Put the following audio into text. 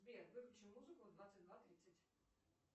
сбер выключи музыку в двадцать два тридцать